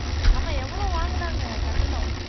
ஆமா எவ்வளவு வாங்குனாங்க கட்டணும்